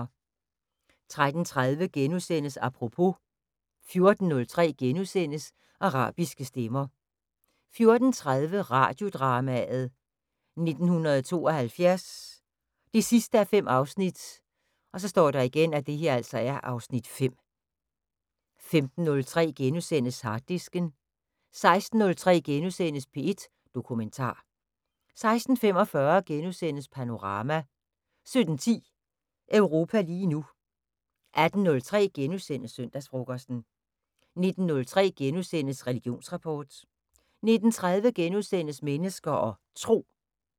13:30: Apropos * 14:03: Arabiske stemmer * 14:30: Radiodrama: 1972 5:5 (Afs. 5) 15:03: Harddisken * 16:03: P1 Dokumentar * 16:45: Panorama * 17:10: Europa lige nu 18:03: Søndagsfrokosten * 19:03: Religionsrapport * 19:30: Mennesker og Tro *